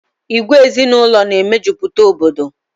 Ìgwè ezinaụlọ na e mejupụta Obodo